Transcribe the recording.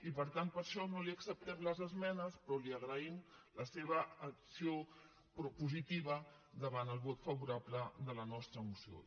i per tant per això no li acceptem les esmenes però li agraïm la seva acció propositiva davant el vot favorable de la nostra moció